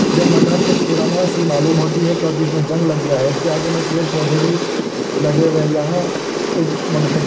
यह मकान कुछ पुराना सी मालूम होती है क्योंकि इसमे जंग लग गया है। इसके आगे में पेड़ पौधे भी लगे हुए है। यहाँ एक मोटरसाइकिल --